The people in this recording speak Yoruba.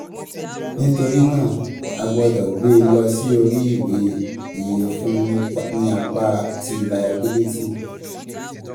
nítorí náà a um gbọ́dọ̀ gbé e lọ sí um orí ìwé ìyefun ní apá um ti layabílítì.